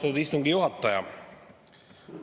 Austatud istungi juhataja!